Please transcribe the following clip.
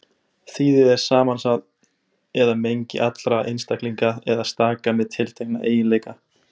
Þýði er samansafn eða mengi allra einstaklinga eða staka með tiltekna eiginleika.